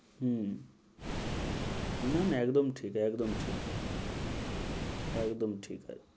হম না না একদম ঠিক, একদম ঠিক, একদম ঠিক।